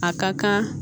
A ka kan